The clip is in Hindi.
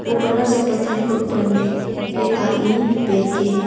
वो बरा सा पत्थर के ऊपर में एक आदमी बैठ के है।